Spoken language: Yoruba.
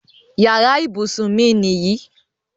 Yàrá ibùsùn mi nìyí.